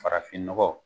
Farafin nɔgɔ